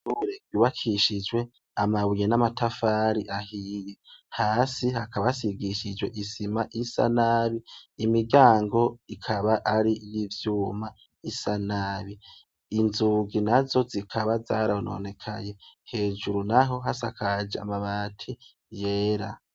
Uregibakishijwe amabuye n'amatafari ahiye, hasi hakabasigishijwe isima isa, nabi imiryango ikaba ari n'ivyuma, isa nabi, inzugi na zo zikaba zaranonekaye, hejuru naho hasakaje amabati yera.